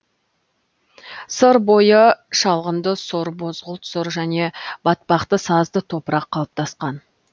сыр бойы шалғынды сұр бозғылт сұр және батпақты сазды топырақ қалыптасқан